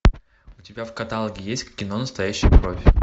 у тебя в каталоге есть кино настоящая кровь